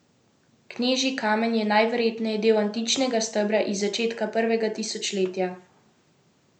Knežji kamen je najverjetneje del antičnega stebra iz začetka prvega tisočletja.